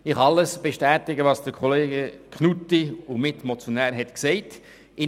Ich kann alles bestätigen, was der Mitmotionär Grossrat Knutti gesagt hat.